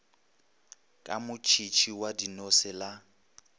ka motšhitšhi wa dinose la